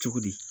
Cogo di